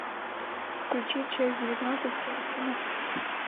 включи часть девятнадцать симпсоны